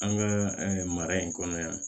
An ka mara in kɔnɔ yan